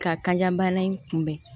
Ka kan bana in kunbɛn